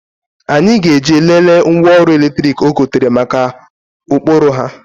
Anyị ga-eje lelee ngwa ọrụ eletrik o gotere mara ụkpụrụ ha.